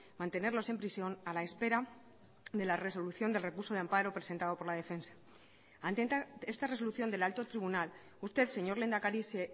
mantenerlos en prisión a la espera de la resolución del recurso de amparo presentado por la defensa ante esta resolución del alto tribunal usted señor lehendakari se